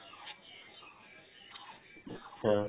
অ